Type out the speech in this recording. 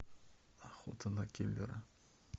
охота на киллера